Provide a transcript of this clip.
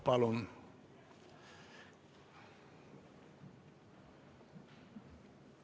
Palun!